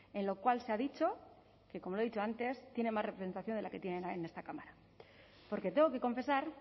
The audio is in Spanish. en lo cual se ha dicho que como le he dicho antes tiene más representación de la que tienen en esta cámara porque tengo que confesar